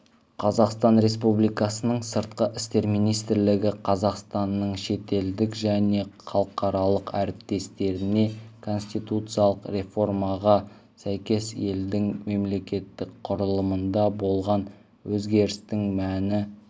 қазақстан республикасының сыртқы істер министрлігі қазақстанның шетелдік және халықаралық әріптестеріне конституциялық реформаға сәйкес елдің мемлекеттік құрылымында болған өзгерістердің мәні